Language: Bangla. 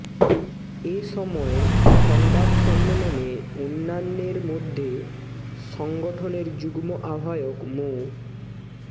এ সময় সংবাদ সম্মেলনে অন্যান্যের মধ্যে সংগঠনের যুগ্ম আহ্বায়ক মো